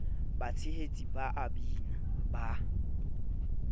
batshehetsi ba a bina ba